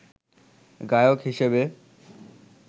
গায়ক হিসেবে